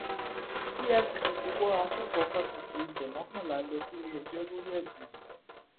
efcc ti wọ akẹkọọ fásitì ife mọkànlá lọ síléẹjọ lórí ẹsùn jìbìtì